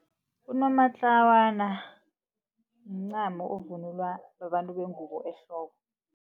Unomatlawana mncamo ovunulwa babantu bengubo ehloko.